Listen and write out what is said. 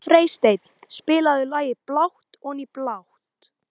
Freysteinn, spilaðu lagið „Blátt oní blátt“.